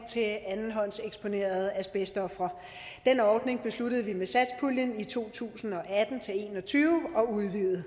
til andenhåndseksponerede asbestofre den ordning besluttede vi med satspuljen for to tusind og atten til en og tyve at udvide